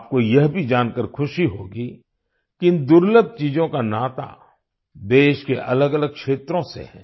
आपको यह भी जानकर खुशी होगी कि इन दुर्लभ चीजों का नाता देश के अलगअलग क्षेत्रों से है